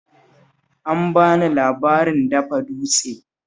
An ba ni labarin dafa dutse